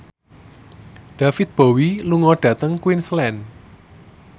David Bowie lunga dhateng Queensland